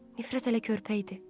Nifrət hələ körpə idi.